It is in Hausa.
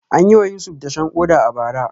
An yi wa Yusuf dashen koda a bara.